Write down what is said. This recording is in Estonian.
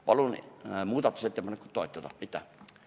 Palun muudatusettepanekut toetada!